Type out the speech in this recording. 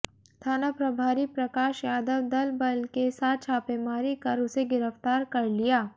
थाना प्रभारी प्रकाश यादव दल बल के साथ छापेमारी कर उसे गिरफ्तार कर लिया